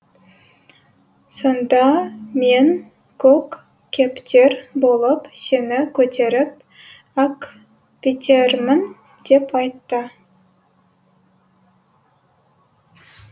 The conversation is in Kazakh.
сонда мен көк кептер болып сені көтеріп әкпетермін деп айтты